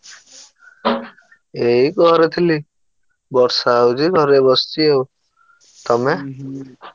ଏଇ ଘରେ ଥିଲି ବର୍ଷା ହଉଛି ଘରେ ବସିଛି ଆଉ ତମେ?